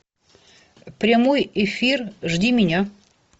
прямой эфир жди меня